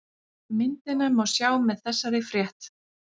Myndina má sjá með þessari frétt